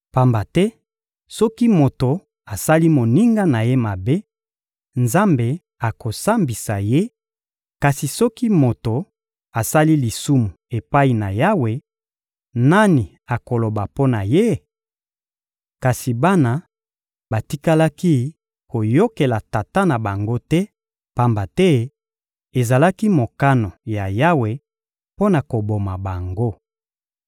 Pamba te soki moto asali moninga na ye mabe, Nzambe akosambisa ye; kasi soki moto asali lisumu epai na Yawe, nani akoloba mpo na ye?» Kasi bana batikalaki koyokela tata na bango te, pamba te ezalaki mokano ya Yawe mpo na koboma bango.